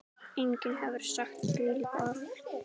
Enginn hefur sagt þvílík orð.